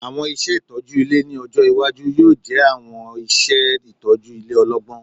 Awọn iṣẹ itọju ile ni ọjọ iwaju yoo jẹ awọn iṣẹ itọju ile ọlọgbọn